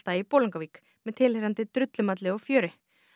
í Bolungarvík með tilheyrandi drullumalli og fjöri